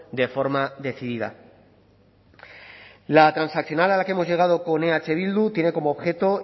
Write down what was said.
de forma decidida la transaccional a la que hemos llegado con eh bildu tiene como objeto